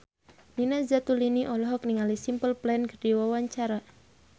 Nina Zatulini olohok ningali Simple Plan keur diwawancara